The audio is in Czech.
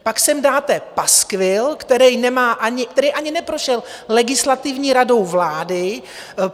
Pak sem dáte paskvil, který ani neprošel Legislativní radou vlády.